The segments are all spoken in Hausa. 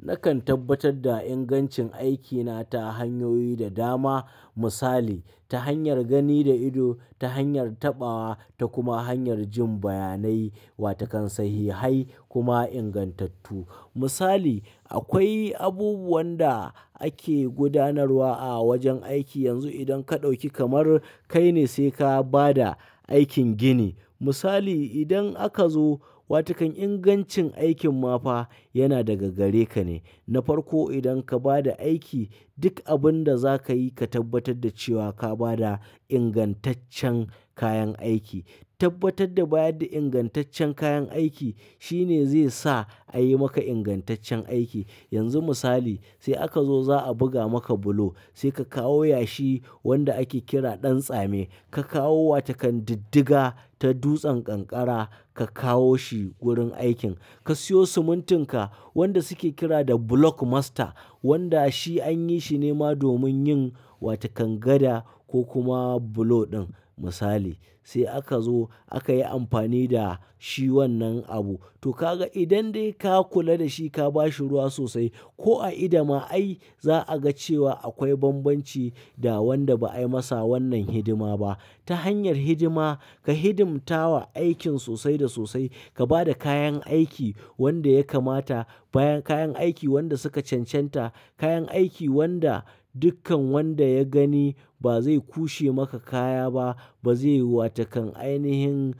Nakan tabbatar da ingancin aikina ta hanyoyi da dama. Misali, ta hanyar gani da ido, ta hanyar taɓawa ta kuma hanyar jin bayanai wata kan sahihai kuma ingantattu. Misali, akwai abubuwan da ake gudanarwa a wajen aiki yanzu idan ka ɗauki kamar kai ne sai ka ba da aikin gini. Misali, idan aka zo, wata kan ingancin aikin ma fa yana daga gare ka ne. Na farko idan ka ba da aiki, duk abun da za ka yi ka tabbatar da cewa ka ba da ingantaccen kayan aiki. Tabbatar da bayar da ingantaccen kayan aiki shine zai sa a yi maka ingantaccen aiki. Yanzu misali, sai aka zo za a buga maka bulo, sai ka kawo yashi wanda ake kira ɗan tsame, ka kawo wata kan diddiga ta dutsen kankara ka kawo shi wurin aikin. Ka siyo simintin ka wanda suke kira da block master wanda shi an yi shi ne ma domin yin wata kan gada ko kuma bulo ɗin misali. Sai aka zo aka yi amfani da shi wannan abu. To ka ga idan dai ka kula da shi ka ba shi ruwa sosai ko a ido ma ai za a ga cewa akwai bambanci da wanda ba a yi masa wannan hidima ba. Ta hanyar hidima, ka hidimta wa aikin sosai da sosai, ka ba da kayan aiki wanda ya kamata, bayan kayan aiki wanda suka cancanta, kayan aiki wanda dukkan wanda ya gani ba zai kushe maka kaya ba, ba zai yi wata kan ainihin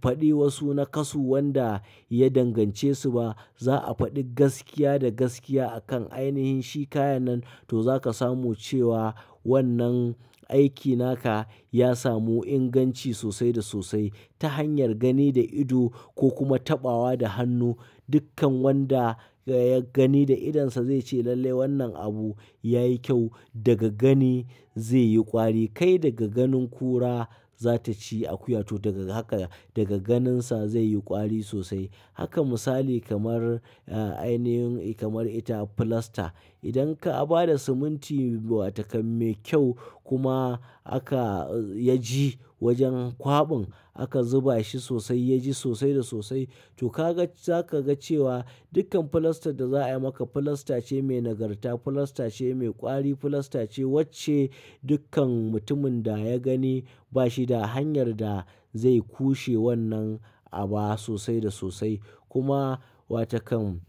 faɗi wasu nakasu wanda ya dangance su ba. Za a faɗi gaskiya da gaskiya a kan ainihin shi kayan nan to za ka samu cewa wannan aiki naka ya samu inganci sosai da sosai. Ta hanyar gani da ido ko kuma taɓawa da hannu, dukkan wanda ya gani da idonsa zai ce lalle wannan abu ya yi kyau. Daga gani zai yi ƙwari. Kai daga ganin kura za ta ci akuya to daga haka daga ganinsa zai yi ƙwari sosai. Haka misali kamar, ah, ainihin kamar ita filasta. Idan ka ba da siminti wata kan mai kyau kuma aka, ya ji wajen kwaɓin aka zuba shi sosai ya ji sosai da sosai to ka ga za ka ga cewa dukkan filastar da za a yi maka filasta ce mai nagarta, filasta ce mai ƙwari, filasta ce wacce dukkan mutumin da ya gani ba shi da hanyar da zai kushe wannan abu sosai da sosai. Kuma wata kan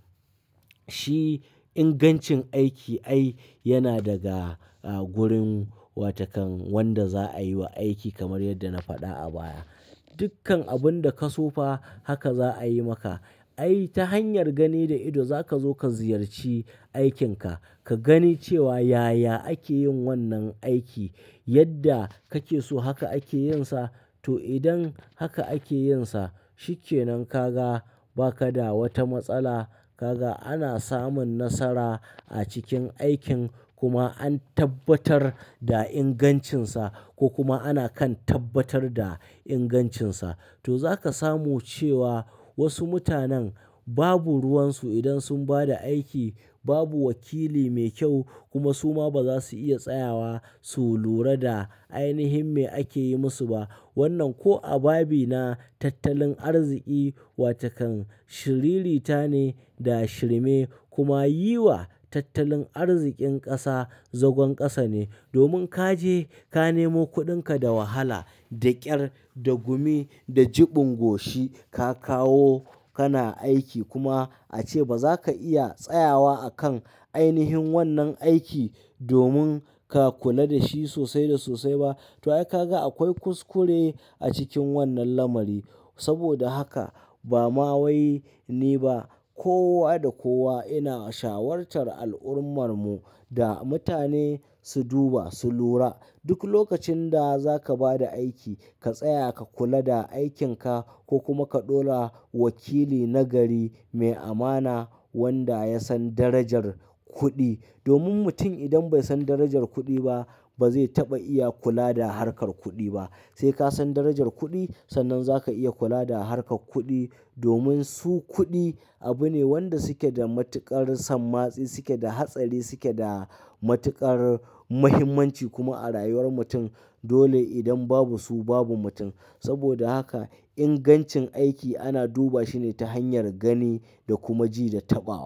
shi ingancin aiki ai yana daga, ah, gurin wata kan wanda za a yi wa aiki kamar yadda na faɗa a baya. Dukkan abun da ka so fa haka za a yi maka. Ai ta hanyar gani da ido za ka zo ka ziyarci aikinka, ka gani cewa yaya ake yin wannan aiki, yadda kake so haka ake yin sa to idan haka ake yin sa, shi ke nan ka ga ba ka da wata matsala. Ka ga ana samun nasara a cikin aikin kuma an tabbatar da ingancinsa ko kuma ana kan tabbatar da ingancinsa. To za ka samu cewa wasu mutanen babu ruwan su idan sun ba da aiki, babu wakili mai kyau kuma su ma ba za su iya tsayawa su lura da ainihin me ake yi musu ba. Wannan ko a babi na tattalin arziƙi wata kan shiririta ne da shirme kuma yi wa tattalin arziƙin ƙasa zagon ƙasa ne. Domin ka je ka nemo kuɗinka da wahala, da ƙyar, da gumi, da jiɓin goshi ka kawo kana aiki kuma a ce ba za ka iya tsayawa a kan ainihin wannan aiki domin ka kula da shi sosai da sosai ba. To ai ka ga akwai kuskure a cikin wannan lamari. Saboda haka ba ma wai ni ba, kowa da kowa ina shawartar al'ummar mu da mutane su duba, su lura. Duk lokacin da za ka ba da aiki, ka tsaya ka kula da aikin ka ko kuma ka ɗora wakili nagari mai amana wanda ya san darajar kuɗi. Domin mutum idan bai san darajar kuɗi ba, ba zai taɓa iya kula da harkar kuɗi ba. Sai ka san darajar kuɗi, sannan za ka iya kula da harkar kuɗi. Domin su kuɗi abu ne wanda suke da matuƙar sammatsi, suke da hatsari, suke da matuƙar mahimmanci kuma a rayuwar mutum. Dole idan babu su babu mutum. Saboda haka ingancin aiki ana duba shi ne ta hanyar gani da kuma ji da taɓawa.